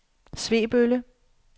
Svebølle